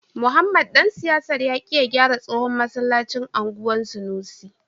Mohammed dan siyasar ya ki gyara tsohon masallacin anguwan sanusi.